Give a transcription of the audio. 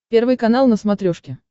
первый канал на смотрешке